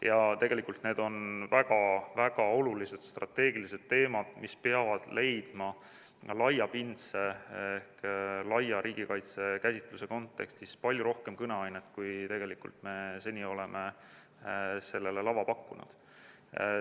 Ja tegelikult need on väga-väga olulised strateegilised teemad, mis peaksid andma laiapindse ehk laia riigikaitse käsitluse kontekstis palju rohkem kõneainet, kui me seni oleme neile lava pakkunud.